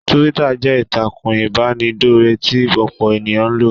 Túwítà jẹ́ ìtàkùn ìbánidọ́rẹ̀ẹ́ tí ọ̀pọ̀ ènìyàn ń lò